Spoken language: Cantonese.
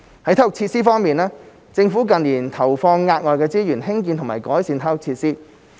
在體育設施方面，政府近年投放額外資源興建及改善體育設施。